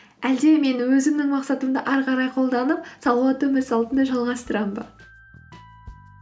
әлде мен өзімнің мақсатымды ары қарай қолданып салауатты өмір салтын жалғастырамын ба